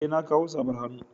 Eh na kawo safar hannu.